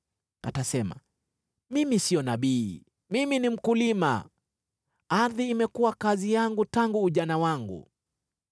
Atasema, ‘Mimi sio nabii. Mimi ni mkulima; ardhi imekuwa kazi yangu tangu ujana wangu.’